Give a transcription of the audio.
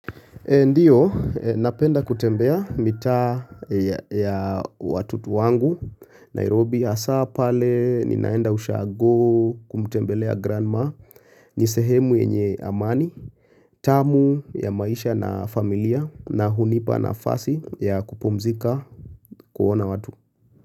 Ndio, napenda kutembea mitaa ya watutu wangu, Nairobi hasaa pale ninaenda ushago kumtembelea grandma, nisehemu yenye amani, tamu ya maisha na familia na hunipa na fasi ya kupumzika kuona watu.